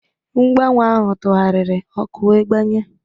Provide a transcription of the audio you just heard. Mgbanwe ahụ tụgharịrị, ọkụ wee gbanye.